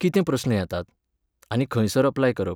कितें प्रस्न येतात? आनी खंयसर अप्लाय करप?